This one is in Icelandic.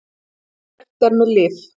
Líkt og gert er með lyf.